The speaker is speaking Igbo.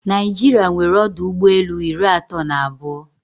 Naijiria nwere ọdụ ụgbọelu iri atọ na abụọ.